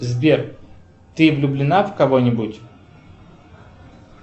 сбер ты влюблена в кого нибудь